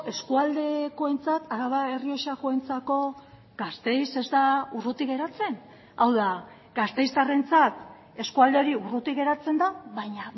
eskualdekoentzat araba errioxakoentzako gasteiz ez da urruti geratzen hau da gasteiztarrentzat eskualde hori urruti geratzen da baina